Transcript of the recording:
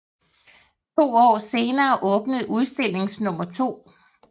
To år senere åbnede udstilling nummer to